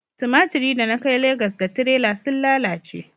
tumatiri da na kai Legas da tirela sun lalace